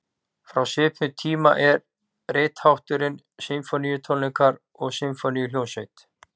Frá svipuðum tíma er rithátturinn sinfóníutónleikar og sinfóníuhljómsveit.